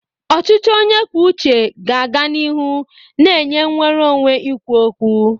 Ọchịchị onye kwuo uche ga-aga n'ihu na-enye nnwere onwe ikwu okwu.